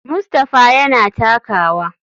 Mustapha yana takawa.